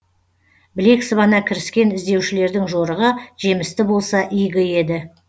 білек сыбана кіріскен іздеушілердің жорығы жемісті болса игі еді